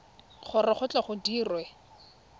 gore go tle go dirwe